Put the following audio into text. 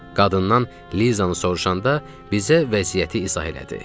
Qadından Lizanı soruşanda bizə vəziyyəti izah elədi.